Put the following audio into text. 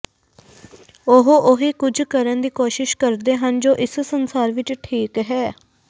ਉਹ ਉਹੀ ਕੁੱਝ ਕਰਨ ਦੀ ਕੋਸਿ਼ਸ਼ ਕਰਦੇ ਹਨ ਜੋ ਇਸ ਸੰਸਾਰ ਵਿੱਚ ਠੀਕ ਹੈ